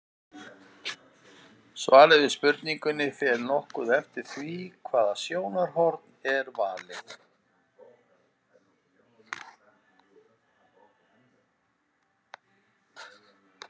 Svarið við spurningunni fer því nokkuð eftir því hvaða sjónarhorn er valið.